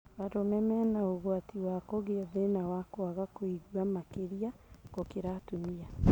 Arũme mena ũgwati wa kũgĩa thĩna wa kwaga kũigua makĩria gũkĩra atumia